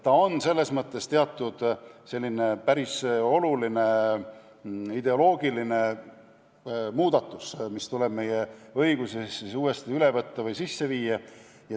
See on selles mõttes päris oluline ideoloogiline muudatus, mis tuleb meie õigusesse uuesti üle võtta või sisse viia.